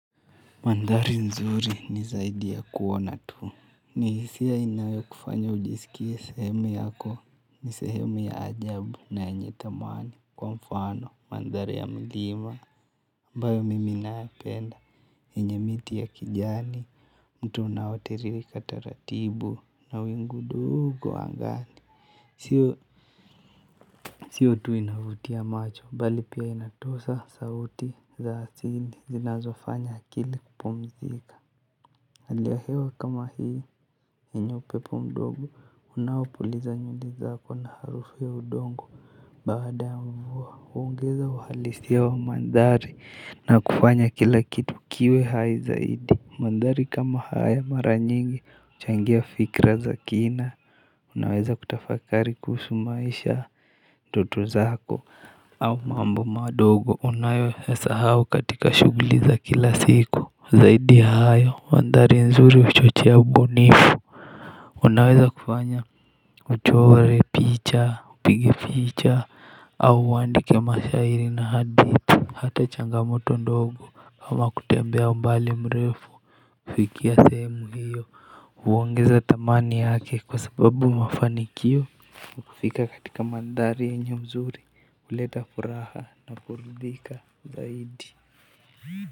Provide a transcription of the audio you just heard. Mandhari nzuri ni zaidi ya kuona tu. Ni hisia inayo kufanya ujisikie sehemu yako ni sehemu ya ajabu na yenye thamani kwa mfano mandhari ya mlima. Ambayo mimi naipenda yenye miti ya kijani mto unaotiririka taratibu na wingu ndogo angani. Sio tu inavutia macho bali pia inatosha sauti za asili zinazofanya akili kupumzika. Hali ya hewa kama hii yenye upepo mdogo unaopuliza nywele zako na harufu ya udongo. Baada ya mvuaa huongeza uhalisia wa mandhari na kufanya kila kitu kiwe hai zaidi. Mandhari kama haya mara nyingi huchangia fikra za kina unaweza kutafakari kuhusu maisha ndoto zako au mambo madogo unayoasahau katika shugulizi za kila siku zaidi ya hayo mandari nzuri huchochea ubunifu unaweza kufanya uchore picha upige picha au uandike mashairi na hadithi hata changamoto ndogo hama kutembea mbali mrefu kufikia sehemu hiyo huongeza thamani yake kwa sababu mafanikio ya kufika katika mandhari yenye uzuri huleta furaha na kurudhika zaidi.